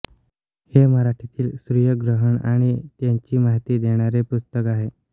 हे मराठीतील सूर्यग्रहण आणि त्याची माहिती देणारे पुस्तक आहे